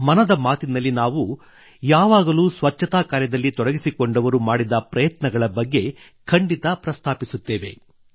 ಮನದ ಮಾತಿನಲ್ಲಿ ನಾವು ಎಂದಿಗೂ ಸ್ವಚ್ಛತಾ ಕಾರ್ಯದಲ್ಲಿ ತೊಡಗಿಸಿಕೊಂಡವರು ಮಾಡಿದ ಪ್ರಯತ್ನಗಳ ಬಗ್ಗೆ ಖಂಡಿತ ಪ್ರಸ್ತಾಪಿಸುತ್ತೇವೆ